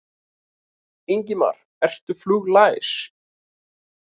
Ingimar: Ertu fluglæs?